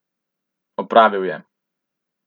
Opravil je.